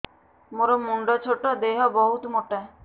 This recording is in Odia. ମୋର ମୁଣ୍ଡ ଛୋଟ ଦେହ ବହୁତ ମୋଟା